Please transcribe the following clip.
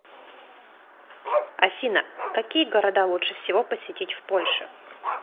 афина какие города лучше всего посетить в польше